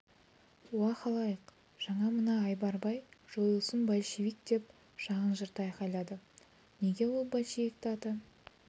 уа халайық жаңа мына айбар бай жойылсын большевик деп жағын жырта айқайлады неге ол большевикті ата